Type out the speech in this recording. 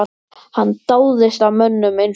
Hann dáðist að mönnum eins og